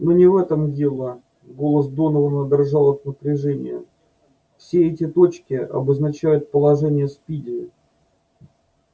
но не в этом дело голос донована дрожал от напряжения вот эти точки обозначают положение спиди